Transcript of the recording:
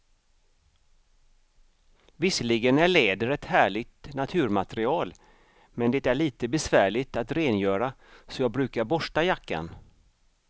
Visserligen är läder ett härligt naturmaterial, men det är lite besvärligt att rengöra, så jag brukar borsta jackan.